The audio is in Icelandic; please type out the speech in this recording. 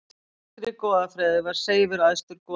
Í grískri goðafræði var Seifur æðstur goðanna.